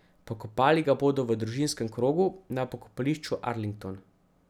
Pokopali ga bodo v družinskem krogu na pokopališču Arlington.